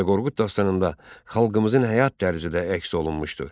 Dədə Qorqud dastanında xalqımızın həyat tərzi də əks olunmuşdu.